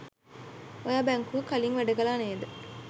ඔයා බැංකුවක කලින් වැඩ කළා නේද?